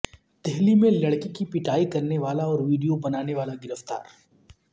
دہلی میں لڑکی کی پٹائی کرنے والا اور ویڈیو بنانے والا گرفتار